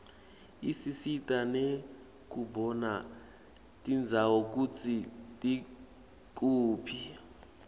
isisita nekubona tindzawo kutsi tikuphi